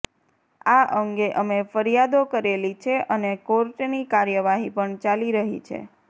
આ અંગે અમે ફરિયાદો કરેલી છે અને કોર્ટની કાર્યવાહી પણ ચાલી રહી છે